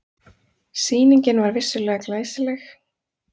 Sýningin var vissulega glæsileg.